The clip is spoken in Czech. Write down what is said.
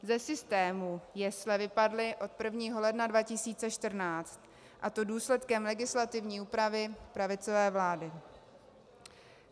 Ze systému jesle vypadly od 1. ledna 2014, a to důsledkem legislativní úpravy pravicové vlády.